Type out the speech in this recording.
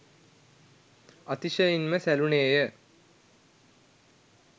අතිශයින්ම සැලුනේය.